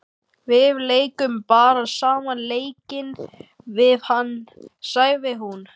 Við leikum bara sama leikinn við hann, sagði hún.